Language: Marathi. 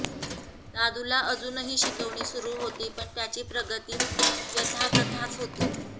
दादूला अजूनही शिकवणी सुरू होती पण त्याची प्रगती यथातथाच होती